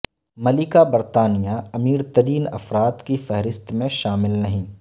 ملکہ برطانیہ امیرترین افراد کی فہرست میں شامل نہیں